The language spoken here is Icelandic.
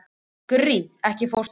Gurrí, ekki fórstu með þeim?